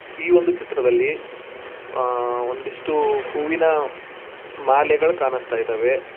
ಈ ಒಂದು ಚಿತ್ರದಲ್ಲಿ ಒಂದಿಷ್ಟು ಹೂವಿನ ಮಾಲೆಗಳ ಕಾಣಿಸ್ತಾ ಇದವೆ.